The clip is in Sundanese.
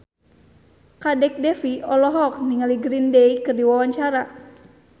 Kadek Devi olohok ningali Green Day keur diwawancara